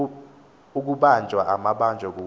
ukubanjwa amabanjwa kunye